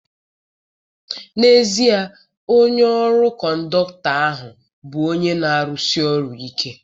N'ezie, onye ọkụ kọndọkụtọ ahụ bụ onye na-arụsi ọrụ ike.